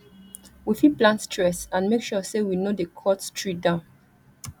we fit plant tress and make sure sey we no dey cut tree down